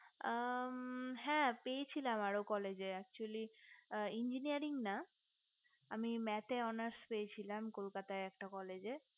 M হ্যা পেয়েছিলাম আরো college actually engineering না আমি math owners পেয়েছিলাম কলকাতায় একটা college এ